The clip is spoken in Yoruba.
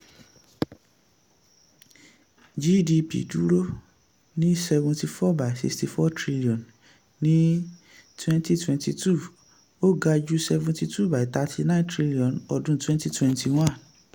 gdp dúró ní seventy four by sixty four trillion ní twenty twenty two ó ga ju seventy two by thirty nine trillion ọdún twenty twenty one.